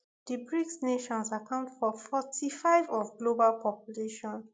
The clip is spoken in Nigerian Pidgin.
di brics nations account for forty-five of global population